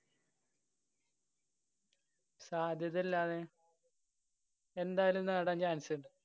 സാധ്യതയല്ലാതെ. എന്തായാലും നേടാന്‍ chance ണ്ട്.